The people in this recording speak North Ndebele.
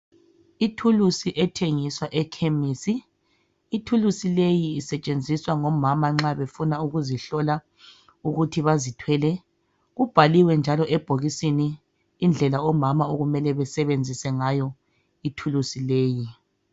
Ithulusi ethengiswa ekhemisi ithulusi leyi isetshenziswa ngomama nxabefuna ukuzihlola ukuthi bazithwele kubhaliwe njalo ebhokisini indlela omama abamele basebenzise ngayo ithulusi leyi